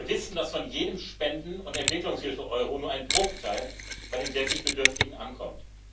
Wir wissen, dass von jedem Spenden und Entwicklungshilfe Euro nur ein Bruchteil bei den wirklich Bedürftigen ankommt.